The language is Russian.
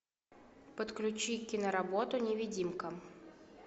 подключи киноработу невидимка